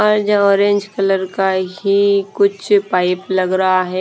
और जो orange colour का ही कुछ पाइप लग रहा है।